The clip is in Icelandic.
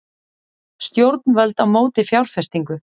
Stjórnvöld á móti fjárfestingu